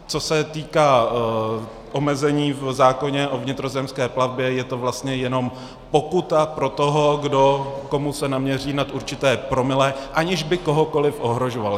Co se týká omezení v zákoně o vnitrozemské plavbě, je to vlastně jenom pokuta pro toho, komu se naměří nad určité promile, aniž by kohokoli ohrožoval.